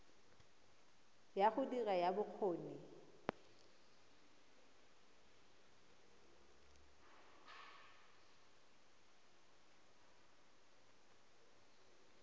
ya go dira ya bokgoni